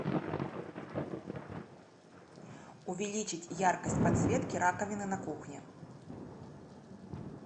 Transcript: увеличить яркость подсветки раковины на кухне